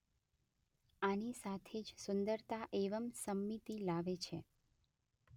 આની સાથે જ સુંદરતા એવં સંમિતિ લાવે છે.